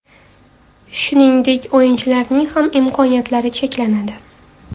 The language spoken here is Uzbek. Shuningdek, o‘yinchilarning ham imkoniyatlari cheklanadi.